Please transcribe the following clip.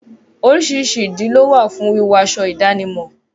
Oríṣiríṣi ìdí lówà fún wíwọ aṣọ ìdánimọ̀.